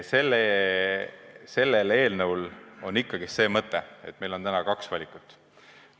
Eelnõu sisu on ikkagi see, et meil on täna kaks valikut.